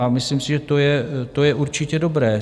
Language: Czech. A myslím si, že to je určitě dobré.